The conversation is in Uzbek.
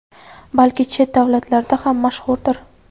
balki chet davlatlarda ham mashhurdir.